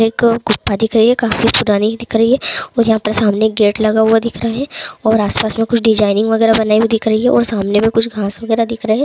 एक गुफा दिख रही है काफी पुरानी दिख रही है और यहां पर सामने एक गेट लगा हुआ दिख रहा है और आस-पास में कुछ डिजाइनिंग वगैरा बनाई दिख रही है और सामने में कुछ घास वगेरा दिख रही है।